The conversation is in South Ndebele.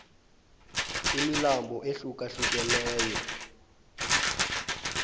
imilambo ehluka hlukeneyo